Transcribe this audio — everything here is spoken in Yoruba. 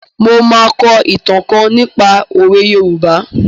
Mo máa kọ ìtàn kan nípa òwe Yorùbá.